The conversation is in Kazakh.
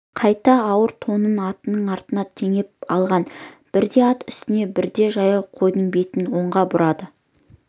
қайта ауыр тонын атының артына теңдеп алған бірде ат үстінде бірде жаяу қойдың бетін оңға бұрады